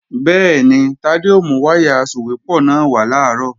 Bẹ́ẹ̀ni, Tádé ó mú wáyà asòwépọ̀ náà wá làárọ̀